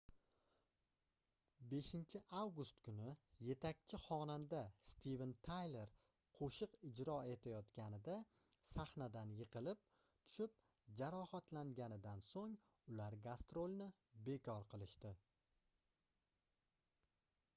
5-avgust kuni yetakchi xonanda steven tayler qoʻshiq ijro etayotganida sahnadan yiqilib tushib jarohatlanganidan soʻng ular gastrolni bekor qilishdi